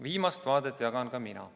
Viimast vaadet jagan ka mina.